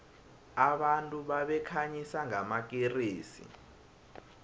abantu babekhanyisa ngamakeresi